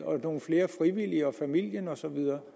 nogle flere frivillige og familien osv